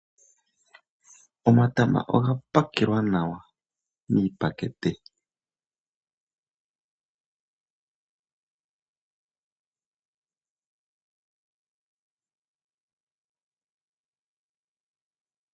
Omatama oga pakelwa nawa miipakete. Omatama ngele ga pakelwa nawa, oga nuninwa oku landithwa kaantu mboka yega pumbwa. Oku monika nawa kwago, ohaku nana aalandi.